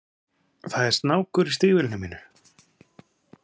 Það er snákur í stígvélinu mínu?